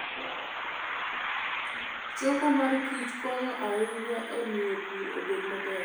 Choko mor kich konyo ahinya e miyo pur obed maber.